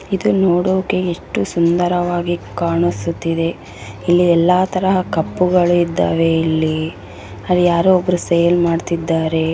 ಇದು ನೋಡೋಕೆ ಎಷ್ಟು ಸುಂದರವಾಗಿ ಕಾಣಿಸುತ್ತಿದೆ ಇಲ್ಲಿ ಎಲ್ಲಾ ತರಹದ ಕಪ್‌ ಗಳು ಇದ್ದಾವೆ ಇಲ್ಲಿ ಅಲ್ಲಿ ಯಾರೋ ಒಬ್ಬರು ಸೇಲ್‌ ಮಾಡ್ತಾ ಇದ್ದಾರೆ .